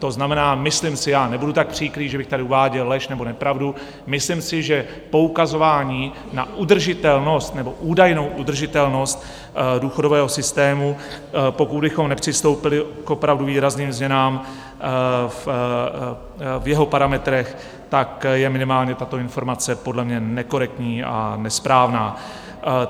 To znamená, myslím si, já nebudu tak příkrý, že bych tady uváděl lež nebo nepravdu, myslím si, že poukazování na udržitelnost nebo údajnou udržitelnost důchodového systému, pokud bychom nepřistoupili k opravdu výrazným změnám v jeho parametrech, tak je minimálně tato informace podle mě nekorektní a nesprávná.